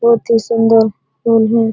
बहुत ही सुंदर फूल है ।